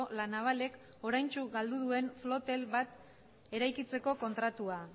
la navalek oraintxe galdu duen flotel bat eraikitzeko kontratua